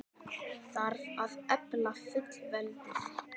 Þarf að efla fullveldið?